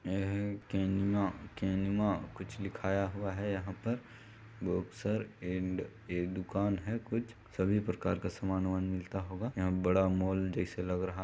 ए है केनिमा- केनिमा कुछ लिखाया हुआ है यहाँ पर बॉक्सर एण्ड ए दुकान है कुछ सभी प्रकार का सामान -उमान मिलता होगा यहाँ बड़ा मॉल जैसे लग रहा --